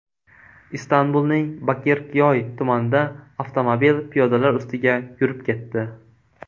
Istanbulning Bakirkyoy tumanida avtomobil piyodalar ustiga yurib ketdi.